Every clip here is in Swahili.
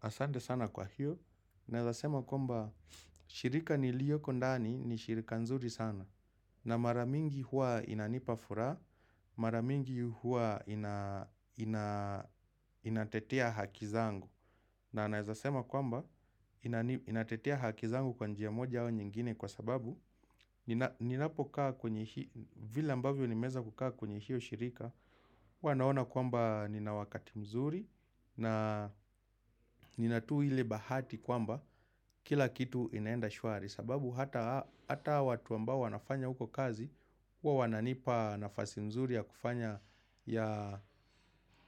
Asante sana kwa hiyo, naweza sema kwamba, shirika nilioko ndani ni shirika nzuri sana. Na maramingi huwa inanipa furaha, maramingi huwa inatetea hakizangu. Na naezasema kwamba, inatetea haki zangu kwa njia moja wa nyingine kwa sababu ninapo kaa kwenye hiyo, vile ambavyo nimeweza kukaa kwenye hiyo shirika. Wanaona kwamba nina wakati mzuri na nina tuu ile bahati kwamba kila kitu inaenda shwari. Sababu hata watu ambao wanafanya huko kazi, huwa wananipa nafasi mzuri ya kufanya ya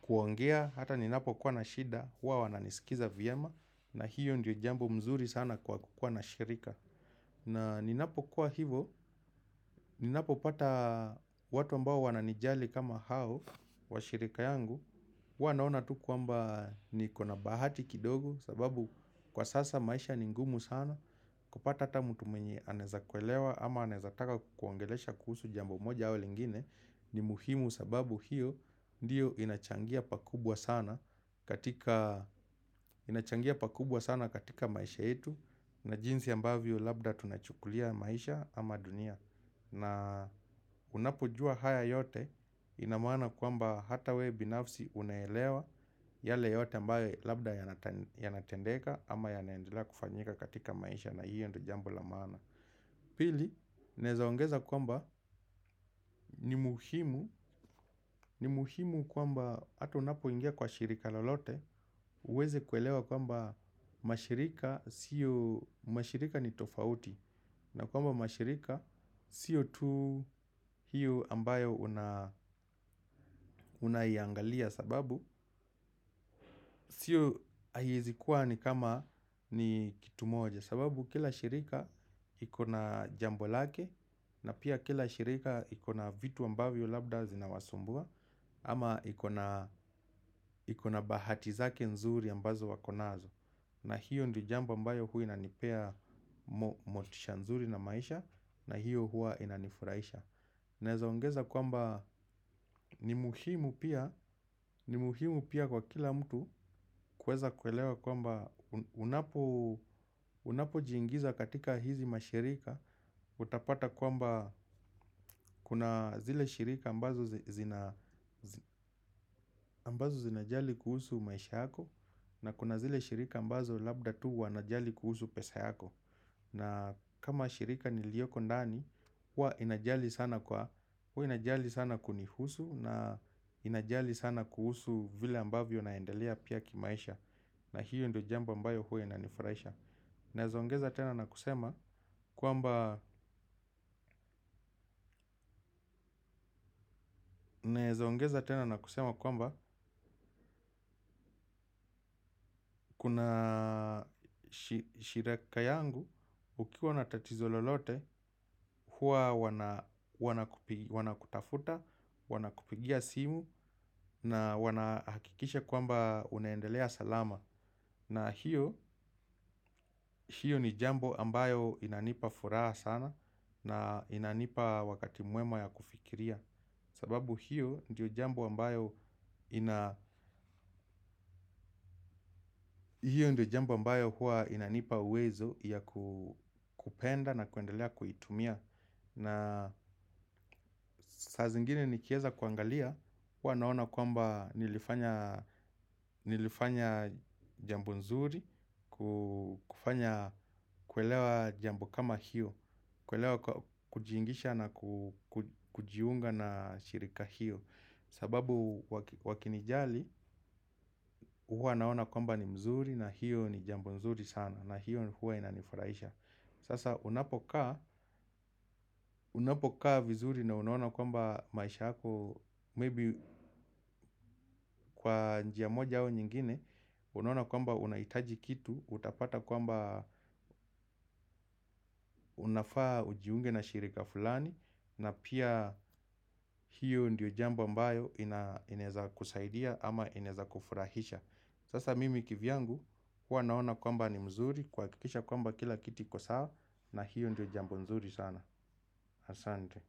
kuongea. Hata ninapo kwa na shida, huwa wananisikiza vyema na hiyo ndio jambo mzuri sana kwa kukua na shirika. Na ninapokua hivyo, ninapo pata watu ambao wananijali kama hao wa shirika yangu wanaona tu kuamba niko na bahati kidogo sababu kwa sasa maisha ni ngumu sana kupata ata mtu mwenye anaweza kuelewa ama anaeza taka kukuongelesha kuhusu jambo moja au lingine ni muhimu sababu hiyo ndiyo vinachangia pakubwa sana inachangia pakubwa sana katika maisha yetu na jinsi ambavyo labda tunachukulia maisha ama dunia na unapojua haya yote inamaana kwamba hata we binafsi uneelewa. Yale yote mbae labda yanatendeka ama yanaendelea kufanyika katika maisha na hiyo ndio jambo la maana. Pili, naweza ongeza kwamba ni muhimu. Ni muhimu kwamba hata unapoingia kwa shirika lalote uweze kuelewa kwamba mashirika siyo mashirika ni tofauti. Na kwamba mashirika siyo tu hiyo ambayo unaiangalia sababu sio haiwezikuwa ni kama ni kitu moja sababu kila shirika iko na jambo lake na pia kila shirika ikona vitu ambavyo labda zina wasumbua ama ikona bahati zake nzuri ambazo wakonazo na hiyo ndi jamba ambayo hui inanipea motisha nzuri na maisha na hiyo hua inanifuraisha. Naweza ongeza kwamba ni muhimu pia kwa kila mtu kuweza kuelewa kwamba unapo jingiiza katika hii mashirika utapata kwamba kuna zile shirika ambazo zina jali kuhusu maisha yako na kuna zile shirika ambazo labda tu wana jali kuhusu pesa yako. Na kama shirika ni iliyoko ndani, huwa inajali sana kwa, huwa inajali sana kunihusu na inajali sana kuhusu vile ambavyo naendelea pia kimaisha. Na hiyo ndio jambo mbayo huwa inanifraisha. Naweza ongeza tena na kusema kwamba kuna shireka yangu ukiwa na tatizo lolote hua wana kutafuta, wana kupigia simu na wana hakikisha kwamba unaendelea salama. Na hiyo ni jambo ambayo inanipa furaha sana na inanipa wakati mwema ya kufikiria. Sababu hiyo ndio jambo ambayo hua inanipa uwezo ya kupenda na kuendelea kuitumia. Na saa zingine nikieza kuangalia hua naona kwamba nilifanya jambo nzuri. Kufanya kuelewa jambo kama hiyo kuelewa kujiingisha na kujiunga na shirika hiyo. Sababu wakinijali, huwa naona kwamba ni mzuri na hiyo ni jambo mzuri sana. Na hiyo huwa inanifurahisha. Sasa unapokaa vizuri na unaona kwamba maisha yako Maybe kwa njia moja au nyingine. Unaona kwamba unaitaji kitu, utapata kwamba unafaa ujiunge na shirika fulani. Na pia hiyo ndiyo jambo mbayo inaweza kusaidia ama inaweza kufurahisha. Sasa mimi kivyangu huwa naona kwamba ni mzuri. Kuhakikisha kwamba kila kitu iko sawa. Na hiyo ndio jambo nzuri sana. Asante.